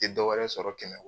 Te dɔ wɛrɛ sɔrɔ kɛmɛ k